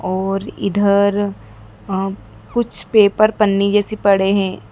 और इधर वहां कुछ पेपर पन्नी जैसी पड़े हैं।